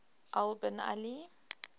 al bin ali